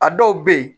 A dɔw bɛ yen